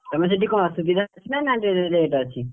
ତମେ ସେଠି କଣ ସୁବିଧା ଅଛି ନା rate ଅଛି?